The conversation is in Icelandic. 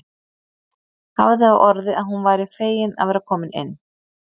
Hafði á orði að hún væri fegin að vera komin inn.